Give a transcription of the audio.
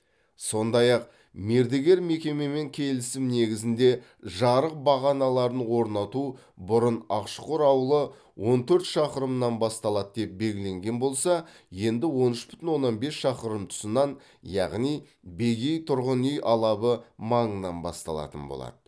сондай ақ мердігер мекемемен келісім негізінде жарық бағаналарын орнату бұрын ақшұқыр ауылы он төрт шақырымнан басталады деп белгіленген болса енді он үш бүтін оннан бес шақырым тұсынан яғни бегей тұрғын үй алабы маңынан басталатын болады